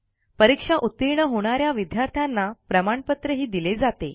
परीक्षा उतीर्ण होणा या विद्यार्थ्यांना प्रमाणपत्रही दिले जाते